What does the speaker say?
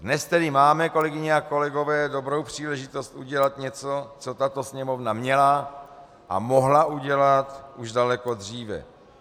Dnes tedy máme, kolegyně a kolegové, dobrou příležitost udělat něco, co tato Sněmovna měla a mohla udělat už daleko dříve.